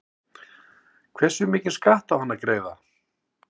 Hversu mikinn skatt á hann að greiða?